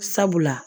Sabula